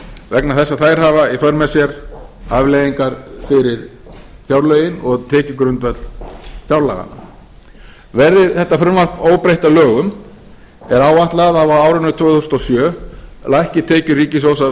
vegna þess að þær hafa í för með sér afleiðingar fyrir fjárlögin og tekjugrundvöll fjárlaga verði þetta frumvarp óbreytt að lögum er áætlað að á árinu tvö þúsund og sjö lækki tekjur ríkissjóðs af